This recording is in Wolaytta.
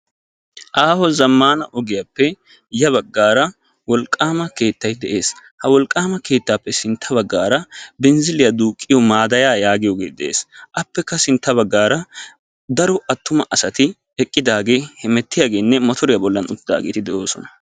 aaho zammana ogiyappe ya bagara wolqqama keettay de"eessi appe yabagara binziliya duuqiyo maadaya giyoge de"eessi appekka sintta bagara daro attuma assati eqiddagettine mottoriya bollani uttidageti de"oossona.